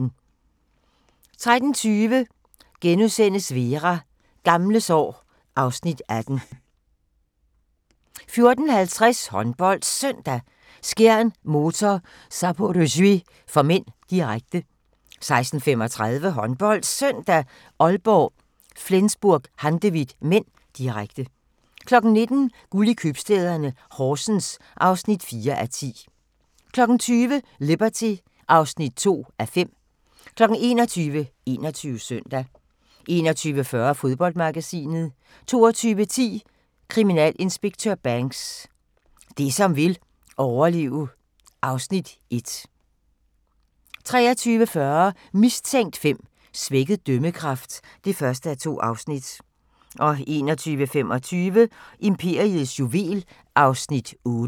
13:20: Vera: Gamle sår (Afs. 18)* 14:50: HåndboldSøndag: Skjern-Motor Zaporozhye (m), direkte 16:35: HåndboldSøndag: Aalborg - Flensburg-Handewitt (m), direkte 19:00: Guld i købstæderne – Horsens (4:10) 20:00: Liberty (2:5) 21:00: 21 Søndag 21:40: Fodboldmagasinet 22:10: Kriminalinspektør Banks: Det som vil overleve (Afs. 1) 23:40: Mistænkt 5: Svækket dømmekraft (1:2) 01:25: Imperiets juvel (8:14)